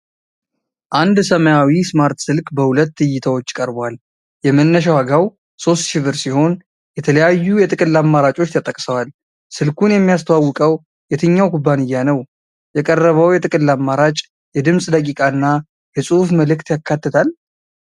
አንድ ሰማያዊ ስማርት ስልክ በሁለት እይታዎች ቀርቧል። የመነሻ ዋጋው 3000 ብር ሲሆን የተለያዩ የጥቅል አማራጮች ተጠቅሰዋል። ስልኩን የሚያስተዋውቀው የትኛው ኩባንያ ነው? የቀረበው የጥቅል አማራጭ የድምፅ ደቂቃ እና የጽሁፍ መልዕክት ያካትታል?